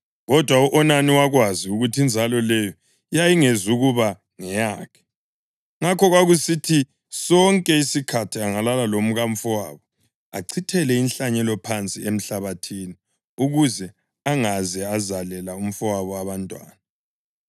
Kodwa u-Onani wakwazi ukuthi inzalo leyo yayingezukuba ngeyakhe; ngakho kwakusithi sonke isikhathi angalala lomkamfowabo achithele inhlanyelo phansi emhlabathini ukuze angaze azalela umfowabo abantwana.